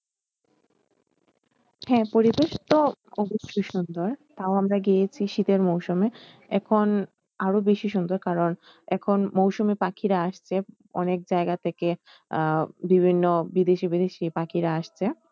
হ্যাঁ পরিবেশ তো অবশ্যই সুন্দর তাও আমরা গিয়েছি শীতের মরশুমে এখন আরও বেশি সুন্দর কারন এখন মৌসুমি পাখিরা আসছে অনেক জায়গা থেকে আহ বিভিন্ন বিদেশি বিদেশি পাখিরা আসছে।